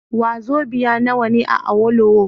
Wazobiya nawa ne a Awolowo?